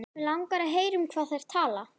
Mig langar að heyra um hvað þær tala.